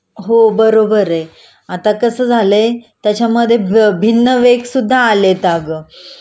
हो बरोबर आहे.आता कसं झालय त्याच्यामध्ये भिन्न वेग सुद्धा आलेत अगं